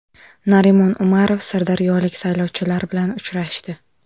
Narimon Umarov sirdaryolik saylovchilar bilan uchrashdi.